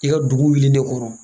I ka dugu wuli de kɔnɔ